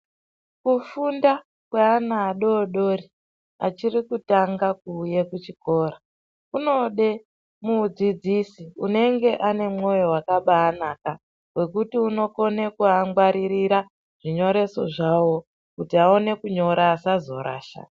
Kufunda kweana adodori, achiri kutanga kuuya kuchikora, kunode mudzidzisi unenge anemwoyo wakabaanaka, wekuti unokone kuvangwaririra zvinyoreso zvavo kuti vaone kunyora ,vasazorasha.